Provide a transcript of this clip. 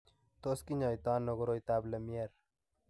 Tos kinyaita ano koroitoab Lemierre?